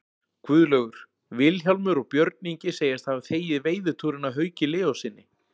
Guðlaugur, Vilhjálmur og Björn Ingi segjast hafa þegið veiðitúrinn af Hauki Leóssyni.